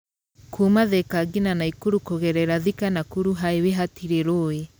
Kuuma Thika ngina Nakuru kũgerera Thika-Nakuru Highway hatirĩ rũĩ.